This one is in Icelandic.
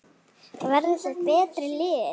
Verða þau betri lið?